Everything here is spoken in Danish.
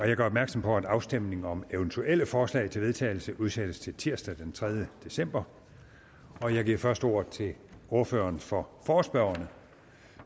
jeg gør opmærksom på at afstemning om eventuelle forslag til vedtagelse udsættes til tirsdag den tredje december jeg giver først ordet til ordføreren for forespørgerne